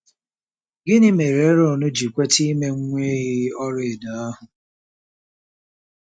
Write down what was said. Gịnị mere Erọn ji kweta ime nwa ehi ọlaedo ahụ?